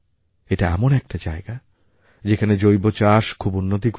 এটা এমন একটা জায়গা যেখানে জৈব চাষ খুব উন্নতি করেছে